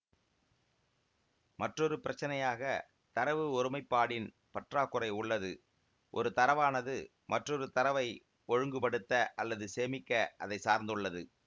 மற்றொரு பிரச்சினையாக தரவு ஒருமைப்பாடின் பற்றாக்குறை உள்ளது ஒரு தரவானது மற்றொரு தரவை ஒழுங்குபடுத்த அல்லது சேமிக்க அதை சார்ந்துள்ளது